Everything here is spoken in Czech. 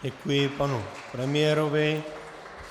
Děkuji panu premiérovi.